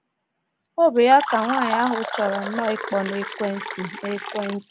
Ọ bụ ya ka nwaanyị ahụ chọrọ nnọọ ịkpọ nekwentị. nekwentị.